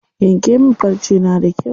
Yanke min farce na da kyau.